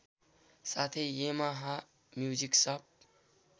साथै Yamaha music शप